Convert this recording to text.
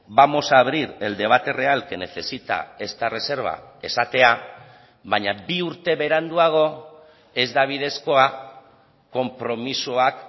vamos a abrir el debate real que necesita esta reserva esatea baina bi urte beranduago ez da bidezkoa konpromisoak